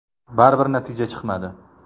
Baribir natija chiqmadi.